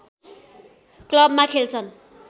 क्लबमा खेल्छन्